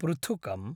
पृथुकम्